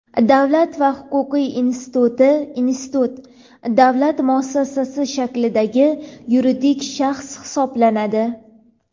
Davlat va huquq instituti (Institut) davlat muassasasi shaklidagi yuridik shaxs hisoblanadi.